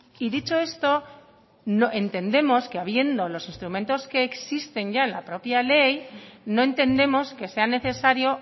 y dicho esto entendemos que habiendo los instrumentos que existen ya en la propia ley no entendemos que sea necesario